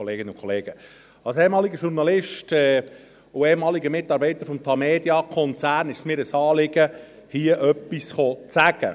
Als ehemaliger Journalist und ehemaliger Mitarbeiter des Tamedia-Konzerns ist es mir ein Anliegen, hier etwas zu sagen.